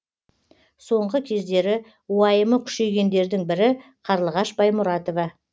соңғы кездері уайымы күшейгендердің бірі қарлығаш баймұратова